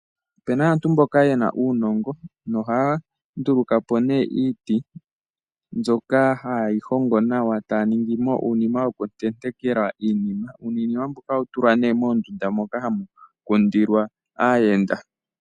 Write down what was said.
Opu na aantu mboka ye na uunongo nohaya nduluka po iiti mbyoka haye yi hongo nawa e taya ningi mo uunima wokutenteka iinima. Uunima mbuka ohawu tulwa nduno moondunda moka hamu kundilwa aayenda.